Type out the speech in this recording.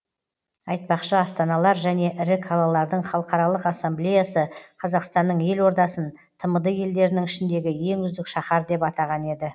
айтпақшы астаналар және ірі қалалардың халықаралық ассамблеясы қазақстанның елордасын тмд елдерінің ішіндегі ең үздік шаһар деп атаған еді